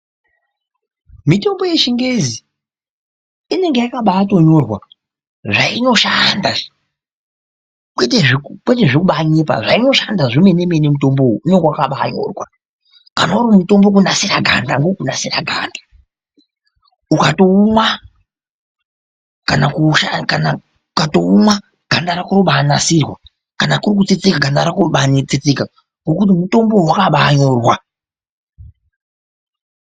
Mutombo yechingezi inenge yakabatonyorwa zvainoshanda kwete zvekubanyepa zvainoshanda zvemene mene mutombowo unenge wakabanyorwa kana uri mutombo wekunasira ganda ukatoumwa ganda rako rinobanasirwa kana kuri kutsetseka ganda rako rinobatsetseka ngekuti mutombo uyu wakabanyorwa.